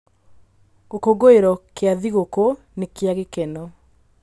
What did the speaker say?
Gĩkũngũĩro kĩa thigũkũ nĩ kĩa gĩkeno.